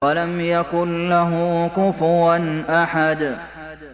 وَلَمْ يَكُن لَّهُ كُفُوًا أَحَدٌ